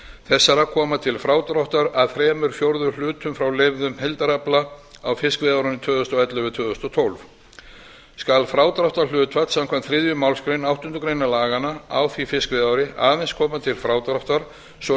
þessara koma til frádráttar að þrír fjórðu hlutum frá leyfðum heildarafla á fiskveiðiárinu tvö þúsund og ellefu til tvö þúsund og tólf skal frádráttarhlutfall samkvæmt þriðju málsgrein áttundu grein laganna á því fiskveiðiári aðeins koma til frádráttar svo